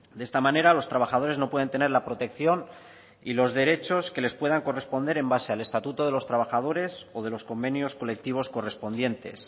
de esta manera los trabajadores no pueden tener la protección y los derechos que les puedan corresponder en base al estatuto de los trabajadores o de los convenios colectivos correspondientes